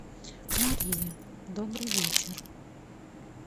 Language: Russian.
мария добрый вечер